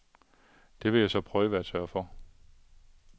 Det vil jeg så prøve at sørge for.